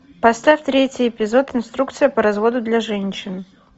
поставь третий эпизод инструкция по разводу для женщин